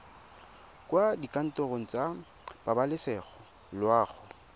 kwa dikantorong tsa pabalesego loago